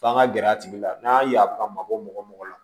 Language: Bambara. F'an ka gɛrɛ a tigi la n'a y'a ka mabɔ mɔgɔ mɔgɔ la